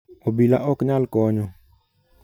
obila ok nyal konyo